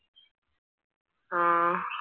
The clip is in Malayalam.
ആഹ്